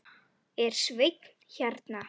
Er Sveinn hérna?